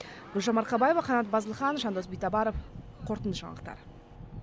гүлжан марқабаева қанат базылхан жандос битабаров қорытынды жаңалықтар